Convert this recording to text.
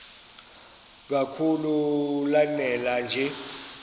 kakhulu lanela nje